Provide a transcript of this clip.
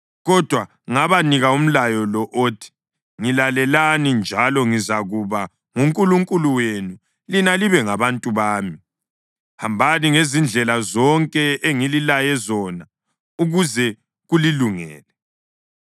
kodwa ngabanika umlayo lo othi: Ngilalelani, njalo ngizakuba nguNkulunkulu wenu lina libe ngabantu bami. Hambani ngezindlela zonke engililaye zona, ukuze kulilungele.